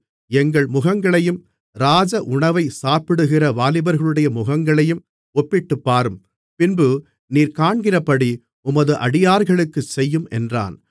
எங்கள் முகங்களையும் ராஜஉணவைச் சாப்பிடுகிற வாலிபர்களுடைய முகங்களையும் ஒப்பிட்டுப்பாரும் பின்பு நீர் காண்கிறபடி உமது அடியார்களுக்குச் செய்யும் என்றான்